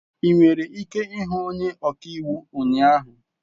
I nwere ike hụ onye ọka iwu ụnyahụ.